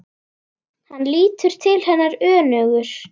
Hann lítur til hennar önugur.